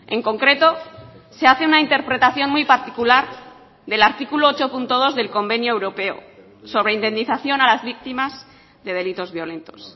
en concreto se hace una interpretación muy particular del artículo ocho punto dos del convenio europeo sobre indemnización a las víctimas de delitos violentos